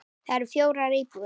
Þar eru fjórar íbúðir.